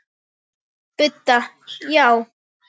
Budda: Já.